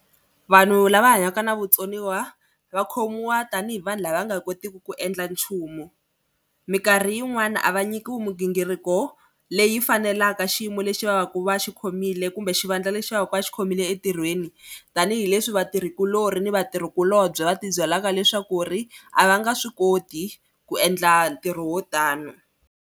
Vanhu lava hanyaka na vutsoniwa va khomiwa tanihi vanhu lava va nga kotiki ku endla nchumu. Minkarhi yin'wani a va nyikiwi migingiriko leyi fanelaka xiyimo lexi va va ku va xikhomile kumbe xivandla lexi va va ku va xikhomile entirhweni tanihileswi vatirhikulori ni vatirhikulobye va tibyela leswaku ri a va nga swi koti ku endla ntirho wo tani.